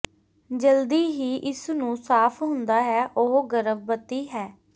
ਜਲਦੀ ਹੀ ਇਸ ਨੂੰ ਸਾਫ ਹੁੰਦਾ ਹੈ ਉਹ ਗਰਭਵਤੀ ਹੈ